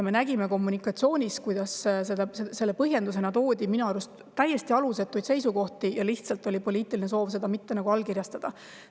Me nägime, kuidas selle põhjendusena toodi minu arust täiesti alusetuid seisukohti, lihtsalt oli poliitiline soov seda mitte allkirjastada.